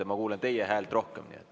Ma kuulen teie häält rohkem.